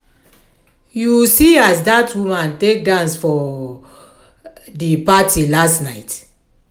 you see as dat woman take dance for um di party last night?